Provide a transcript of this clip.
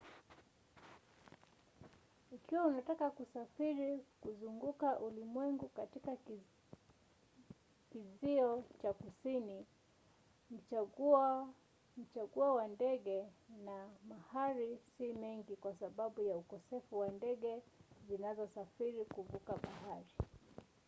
ikiwa unataka kusafiri kuzunguka ulimwengu katika kizio cha kusini machaguo ya ndege na mahali si mengi kwa sababu ya ukosefu wa ndege zinazosafiri kuvuka bahari